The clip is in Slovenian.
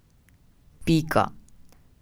Pika.